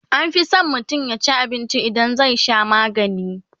anfi San mutum yaci abinci idan zai Sha maganii